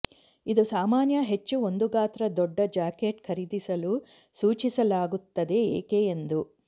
ಇದು ಸಾಮಾನ್ಯ ಹೆಚ್ಚು ಒಂದು ಗಾತ್ರ ದೊಡ್ಡ ಜಾಕೆಟ್ ಖರೀದಿಸಲು ಸೂಚಿಸಲಾಗುತ್ತದೆ ಏಕೆ ಎಂದು